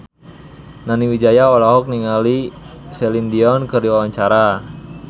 Nani Wijaya olohok ningali Celine Dion keur diwawancara